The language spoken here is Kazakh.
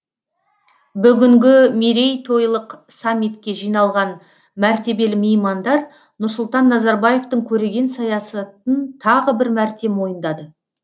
бүгінгі мейрейтойлық саммитке жиналған мәртебелі меймандар нұрсұлтан назарбаевтың көреген саясатын тағы бір мәрте мойындады